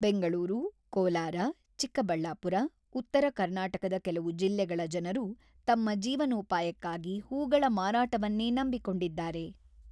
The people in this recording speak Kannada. ಬೆಂಗಳೂರು, ಕೋಲಾರ, ಚಿಕ್ಕಬಳ್ಳಾಪುರ, ಉತ್ತರ ಕರ್ನಾಟಕದ ಕೆಲವು ಜಿಲ್ಲೆಗಳ ಜನರು ತಮ್ಮ ಜೀವನೋಪಾಯಕ್ಕಾಗಿ ಹೂಗಳ ಮಾರಾಟವನ್ನೇ ನಂಬಿಕೊಂಡಿದ್ದಾರೆ.